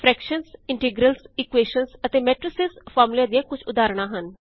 fractions integrals equations ਅਤੇ matrices ਫਾਰਮੂਲਿਆਂ ਦੀਆਂ ਕੁਝ ਉਦਾਹਰਣ ਹਨ